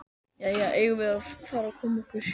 Jæja, eigum við að fara að koma okkur?